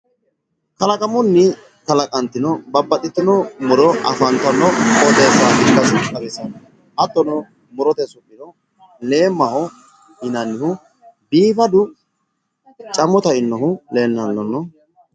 kalaqamunni kalaqantino babbaxxitino muro afantanno qooxeessa ikkasi xawisanno hattono murote su'mino leemmaho yinannihu biifadu camo tainohu lellanno.